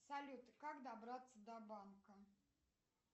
салют как добраться до банка